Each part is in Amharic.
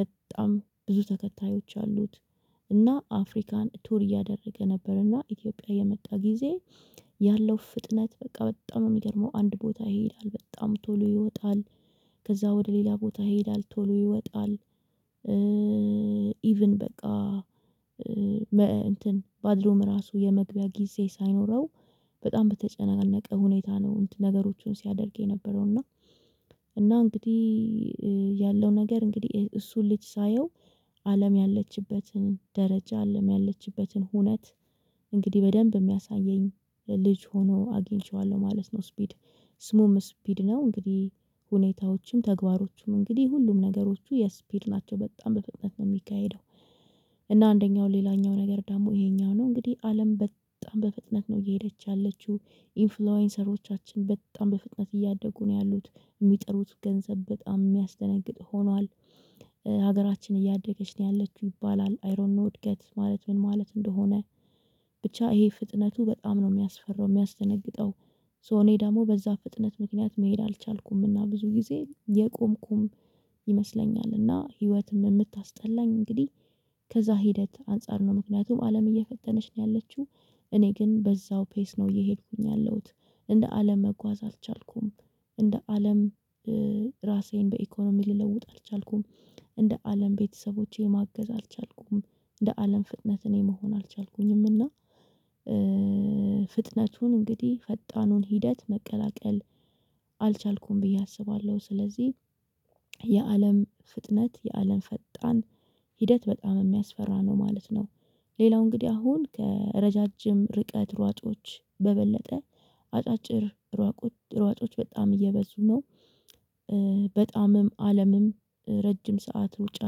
በጣም ብዙ ተከታዮች አሉት እና አፍሪካን ቱር እያደረገ ነበርና ኢትዮጵያ የመጣ ጊዜ። ያለው ፍጥነት በቃ በጣም ነው የሚገርመው አንድ ቦታ ይሄዳል በጣም ቶሎ ይወጣል። ከዛ ወደ ሌላ ቦታ ይሄዳል ቶሎ ይወጣል። ኢቭን በቃ እንትን ባዝሩም ራሱ የመግቢያ ጊዜ ሳይኖረው በጣም በተጨነቀ ሁኔታ ነው። ነገሮቹን ሲያደርግ የነበረው እና እና እንግዲህ ያለው ነገር እንግዲህ እሱን ልጅ ሳየው አለም ያለችበትን ደረጃ አለም ያለችበትን ሁነት። በደንብ የሚያሳየኝ ልጅ ሆኖ አግኝቼዋለሁ ማለት ነው። ስፒድ ስሙም ስፒድ ነው። እንግዲህ ሁኔታዎችም ተግባሮችም እንግዲህ ሁሉም ነገሮቹ የስፒድ ናቸው በጣም በፍጥነት ነው የሚካሄደው። እና አንደኛው ሌላኛው ነገር ደግሞ ይሄኛው ነው እንግዲህ አለም በጣም በፍጥነት ነው እየሄደች ያለችው ኢንፍሉዌንሰሮቻችን በጣም በፍጥነት እያደጉ ነው ያሉት የሚጠሩት ገንዘብ በጣም የሚያስደነግጥ ሆኗል። ሀገራችን እያደገች ነው ያለችው ይባላል አይ ዶንት ኖ እድገት ማለት ምን ማለት እንደሆነ? ብቻ ይሄ ፍጥነቱ በጣም ነው የሚያስፈራው የሚያስደነግጠው። ሶ እኔ ደግሞ በዛ ፍጥነት ምክንያት መሄድ አልቻልኩምና ብዙ ጊዜ የቆምኩም ይመስለኛልና ህይወትም የምታስጠላኝ እንግዲህ። ከዛ ሂደት አንፃር ነው ምክንያቱም አለም እየፈጠነች ነው ያለችው። እኔ ግን በዛው ፔስ ነው እየሄድኩኝ ያለሁት እንደ አለም መጓዝ አልቻልኩም። እንደ አለም ራሴን በኢኮኖሚ ልለውጥ አልቻልኩም። እንደ አለም ቤተሰቦቼ ማገዝ አልቻልኩም። እንደ አለም ፍጥነት እኔ መሆን አልቻልኩኝም እና። ፍጥነቱን እንግዲህ ፈጣኑን ሂደት መቀላቀል አልቻልኩም ብዬ አስባለሁ። ስለዚህ የአለም ፍጥነት የአለም ፈጣን ሂደት በጣም የሚያስፈራ ነው ማለት ነው። ሌላው እንግዲህ አሁን ከረዣዥም ርቀት ሯጮች በበለጠ አጫጭር ሯጮች በጣም እየበዙ ነው። በጣምም አለምም ረጅም ሰዓት ሩጫ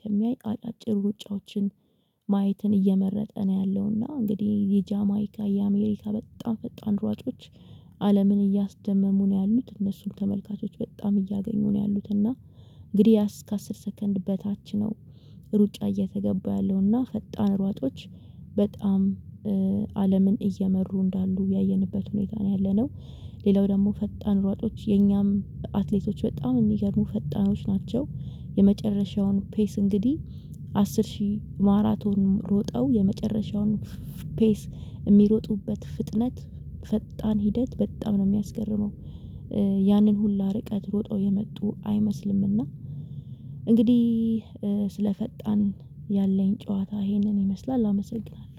ከሚያይ አጫጭር ሩጫዎችን ማየትን እየመረጠ ነው ያለውና እንግዲህ የጃማይካ የአሜሪካ በጣም ፈጣን ሯጮች። አለምን እያስደመሙ ነው ያሉት እነሱም ተመልካቾች በጣም እያገኙ ነው ያሉት እና እንግዲህ እስከ አስር ሰከንድ በታች ነው። ሩጫ እየተገባ ያለው እና ፈጣን ሯጮች በጣም አለምን እየመሩ እንዳሉ ያየንበት ሁኔታ ነው ያለነው። ሌላው ደግሞ ፈጣን ሯጮች የኛም አትሌቶች በጣም የሚገርሙ ፈጣኖች ናቸው። የመጨረሻውን ፔስ እንግዲህ አስር ሺህ ማራቶን ሮጠው የመጨረሻውን ፔስ የሚሮጡበት ፍጥነት ፈጣን ሂደት በጣም ነው የሚያስገርመው። ያንን ሁላ ርቀት ሮጠው የመጡ አይመስልምና። እንግዲህ ስለ ፈጣን ያለኝ ጨዋታ ይሄንን ይመስላል አመሰግናለሁ።